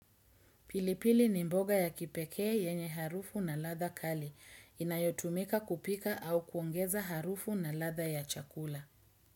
Pilipili ni mboga ya kipekee yenye harufu na ladha kali. Inayotumika kupika au kuongeza harufu na latha ya chakula.